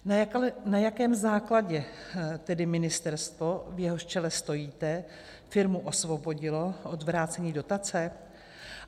Na jakém základě tedy ministerstvo, v jehož čele stojíte, firmu osvobodilo od vrácení dotace?